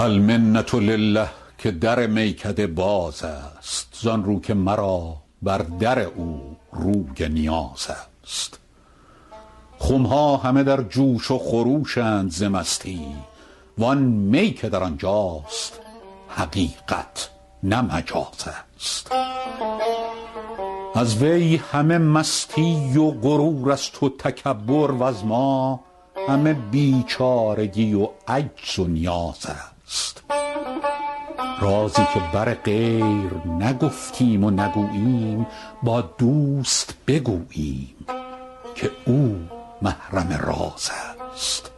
المنة لله که در میکده باز است زان رو که مرا بر در او روی نیاز است خم ها همه در جوش و خروش اند ز مستی وان می که در آن جاست حقیقت نه مجاز است از وی همه مستی و غرور است و تکبر وز ما همه بیچارگی و عجز و نیاز است رازی که بر غیر نگفتیم و نگوییم با دوست بگوییم که او محرم راز است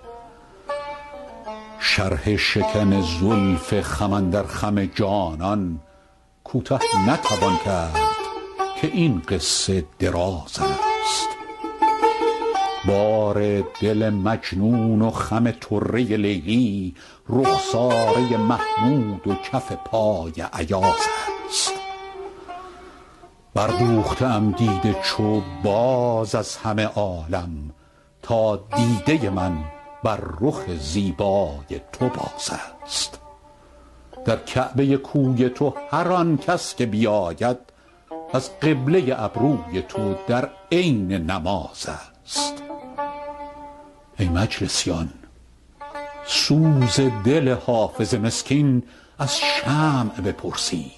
شرح شکن زلف خم اندر خم جانان کوته نتوان کرد که این قصه دراز است بار دل مجنون و خم طره لیلی رخساره محمود و کف پای ایاز است بردوخته ام دیده چو باز از همه عالم تا دیده من بر رخ زیبای تو باز است در کعبه کوی تو هر آن کس که بیاید از قبله ابروی تو در عین نماز است ای مجلسیان سوز دل حافظ مسکین از شمع بپرسید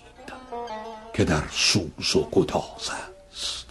که در سوز و گداز است